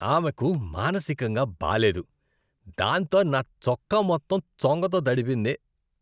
ఆమెకు మానసికంగా బాలేదు, దాంతో నా చొక్కా మొత్తం చొంగతో తడిపింది.